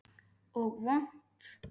Og vont.